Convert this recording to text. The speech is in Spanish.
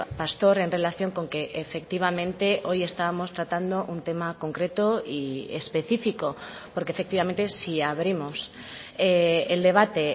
pastor en relación con que efectivamente hoy estamos tratando un tema concreto y especifico porque efectivamente si abrimos el debate